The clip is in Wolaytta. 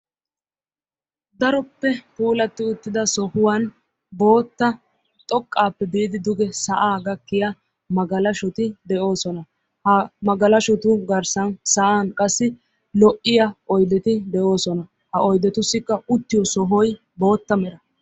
Daroppe puulatti uttida sohuwan bootta xoqqaappe biidi duge sa'aa gakkiya magalaahoti de'oosona. Ha magalashotu garssan sa'an qassi lo'iya oyideti de'oosona. Ha oyidetussikka uttiyo sohoy bootta mera.